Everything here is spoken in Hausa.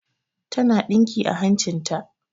Ta na ɗinki a hancin ta